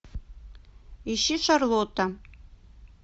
ищи шарлотта